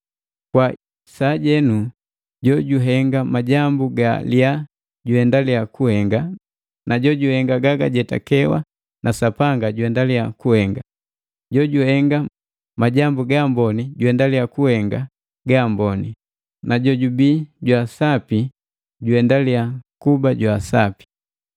Kwa sajenu jojuhenga majambu ga liyaa juhendalya kuhenga, na jojuhenga ganga kujetakewa na Sapanga juhendalia kuhenga. Jojuhenga majambu gaamboni juhendelya kuhenga gaamboni, na jojubii jwaasapi juendalya kuba jwaasapi.”